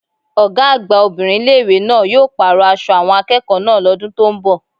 Ọ̀gá àgbà obìnrin ilé ìwé náà yóò pàrọ̀ aṣọ àwọn akẹ́kọ̀ọ́ náà lọ́dún tó ń bò